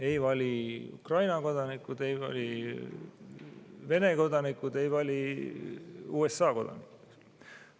Ei vali Ukraina kodanikud, ei vali Vene kodanikud, ei vali USA kodanikud.